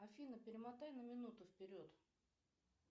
афина перемотай на минуту вперед